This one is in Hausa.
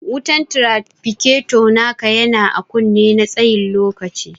Wutan trafficator naka yana ã kunne na tsayin lokaci.